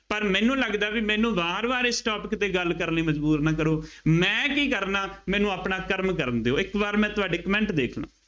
ਪਰ ਮੈਨੂੰ ਲੱਗਦਾ ਬਈ ਮੈਨੂੰ ਵਾਰ ਵਾਰ ਇਸ topic ਤੇ ਗੱਲ ਕਰਨ ਲਈ ਮਜ਼ਬੂਰ ਨਾ ਕਰੋ, ਮੈਂ ਕੀ ਕਰਨਾ, ਮੈਨੂੰ ਆਪਣਾ ਕਰਮ ਕਰਨ ਦਿਉ, ਇੱਕ ਵਾਰ ਮੈਂ ਤੁਹਾਡੇ comment ਦੇਖ ਲਾਂ।